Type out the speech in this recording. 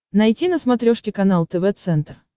найти на смотрешке канал тв центр